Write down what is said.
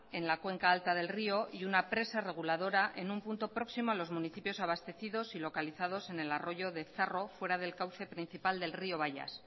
en la cuenca alta del río y una presa reguladora en un punto próximo a los municipios abastecidos y localizados en el arroyo de zarro fuera del cauce principal del río baias